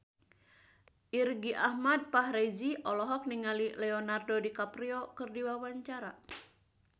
Irgi Ahmad Fahrezi olohok ningali Leonardo DiCaprio keur diwawancara